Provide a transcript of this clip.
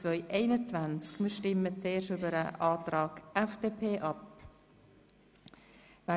Wir stimmen zuerst über den Antrag FDP Haas ab.